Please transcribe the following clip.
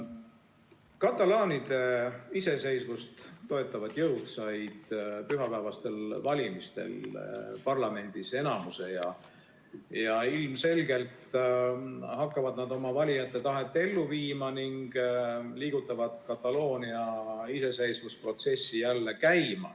Katalaanide iseseisvust toetavad jõud said pühapäevastel valimistel parlamendis enamuse ja ilmselgelt hakkavad nad oma valijate tahet ellu viima ning liigutavad Kataloonia iseseisvusprotsessi jälle käima.